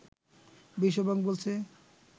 বিশ্বব্যাংক বলছে